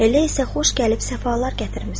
Elə isə xoş gəlib səfalar gətirmisən.